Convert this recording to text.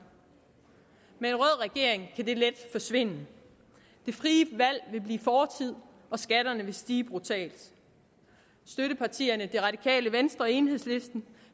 med en rød regering kan det let forsvinde det frie valg vil blive fortid og skatterne vil stige brutalt støttepartierne det radikale venstre og enhedslisten